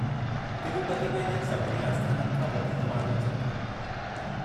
तिरूपती में इन्हनि सभिनी आस्थाननि खां वधीक माण्हू अचनि था।